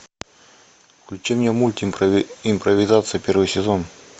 включи мне мульт импровизация первый сезон